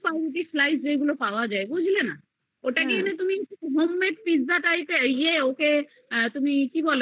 piece পাউরুটির Slice পাওয়া যায় বুঝেছো ওটাকে তুমি homemade pizza type র ওকে তুমি